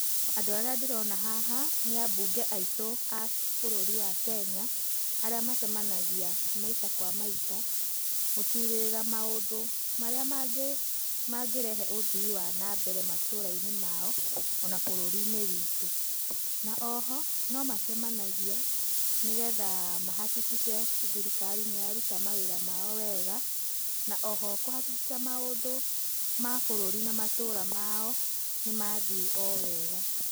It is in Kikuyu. Andũ arĩa ndĩrona haha nĩ ambunge aitũ a bũrũri wa Kenya, arĩa macemanagia maita kwa maita gũcirĩrĩra mũndũ marĩa mangĩrehe ũthii wa nambere matũrainĩ mao, ona bũrũrinĩ witũ. Ona oho, no macemanagia nĩgetha mahakikice thirikari nĩyaruta mawĩra mao wega na oho kũhakikica maũndũ ma bũrũri na ma matũra mao nĩ mathiĩ o wega.